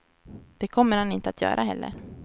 Det kommer han inte att göra heller.